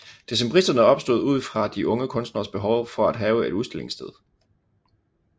Decembristerne opstod ud fra de unge kunstneres behov for at have et udstillingssted